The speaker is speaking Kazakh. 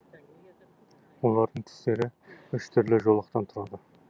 олардың түстері үш түрлі жолақтан тұрады